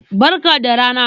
Barka da rana.